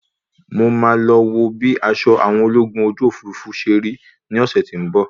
Mo máa lọ wo bí aṣọ àwọn ológun ojú òfurufú ṣe rí ní ọ̀sẹ́ tí ń bọ̀.